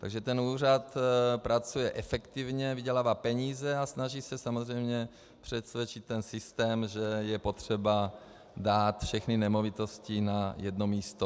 Takže ten úřad pracuje efektivně, vydělává peníze a snaží se samozřejmě přesvědčit ten systém, že je potřeba dát všechny nemovitosti na jedno místo.